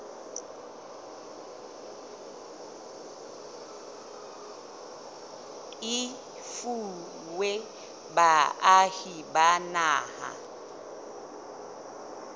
e fuwa baahi ba naha